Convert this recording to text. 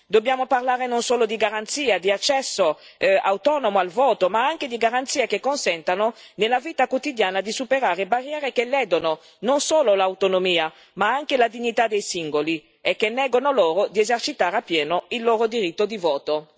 Dobbiamo parlare non solo di garanzie di accesso autonomo al voto, ma anche di garanzie che consentano nella vita quotidiana di superare barriere che ledono, non solo l'autonomia, ma anche la dignità dei singoli e che negano loro di esercitare appieno il loro diritto di voto.